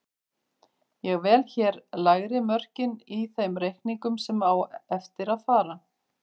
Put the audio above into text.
Ég vel hér lægri mörkin í þeim reikningum sem á eftir fara.